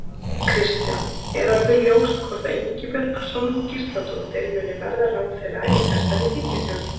Kristján: Er orðið ljóst hvort að Ingibjörg Sólrún Gísladóttir, muni verða ráðherra í þessari ríkisstjórn?